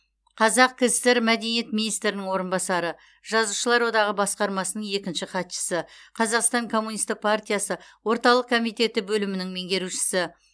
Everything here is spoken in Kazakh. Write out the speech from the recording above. қазақ кср мәдениет министрінің орынбасары жазушылар одағы басқармасының екінші хатшысы қазақстан коммунистік партиясы орталық комитеті бөлімінің меңгерушісі